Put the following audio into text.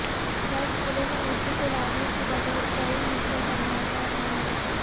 high اسکولوں میں اردو کو لازمی کے بجائے اختیاری مضمون بنایا جارہا ہے